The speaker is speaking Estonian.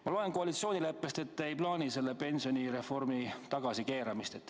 Ma loen koalitsioonileppest, ei te ei plaani pensionireformi tagasi keerata.